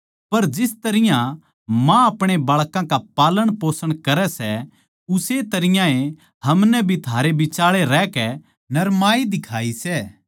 पर जिस तरियां माँ अपणे बाळकां का पालनपोषण करै सै उस्से तरियां ए हमनै भी थारै बिचाळै रहकै नरमाई दिखाई सै